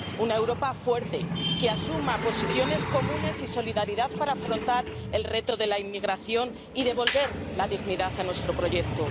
Una Europa fuerte que asuma posiciones comunes y solidaridad para afrontar el reto de la inmigración y devolver la dignidad a nuestro proyecto.